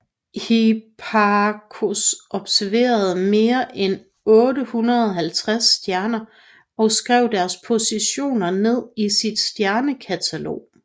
Hipparchos observerede mere end 850 stjerner og skrev deres positioner ned i sit Stjernekatalog